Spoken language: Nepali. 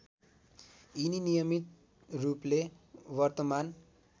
यिनी नियमितरूपले वर्तमान